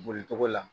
Boli togo la